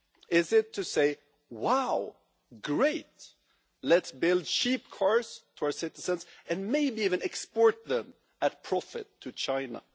Is it to say, Wow, great, let's build cheap cars for our citizens and maybe even export them at a profit to China'?